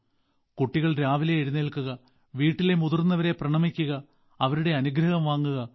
കുട്ടികൾ രാവിലെ എഴുന്നേൽക്കുക വീട്ടിലെ മുതിർന്നവരെ പ്രണമിക്കുക അവരുടെ അനുഗ്രഹം വാങ്ങുക